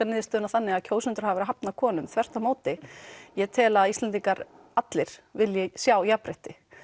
niðurstöðuna þannig að kjósendur hafi verið að hafna konum þvert á móti ég tel að Íslendingar allir vilji sjá jafnrétti